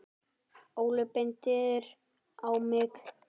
Óli bendir á mig: